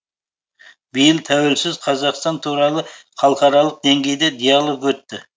биыл тәуелсіз қазақстан туралы халықаралық деңгейде диалог өтті